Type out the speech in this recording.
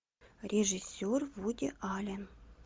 режиссер вуди аллен